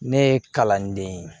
Ne ye kalanden ye